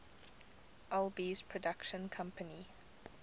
alby's production company